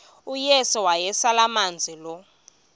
uyesu wayeselemazi lo